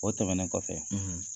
O tɛmɛnen kɔfɛ